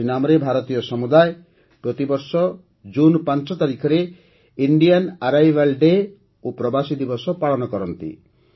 ସୁରିନାମରେ ଭାରତୀୟ ସମୁଦାୟ ପ୍ରତିବର୍ଷ ୫ ଜୁନ୍ରେ ଇଣ୍ଡିଆନ ଆରାଇଭାଲ୍ ଡେ୍ ଓ ପ୍ରବାସୀ ଦିବସ ପାଳନ କରନ୍ତି